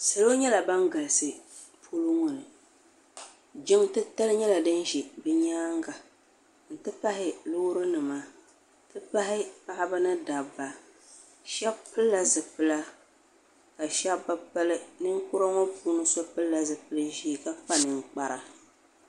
salo nyɛla ban galisi polo ŋɔ ni jinliti tali nyɛla di za nyɛŋa n ti pahi lorinima n ti pahi paɣ ba ni da ba shɛbi pɛlila zibila ka be pɛli nikuri ŋɔ puuni so pɛlila zupɛli ʒiɛ ka kpa nɛkpara